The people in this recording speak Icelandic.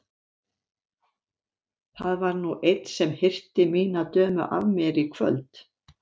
Það var nú einn sem hirti mína dömu af mér í kvöld!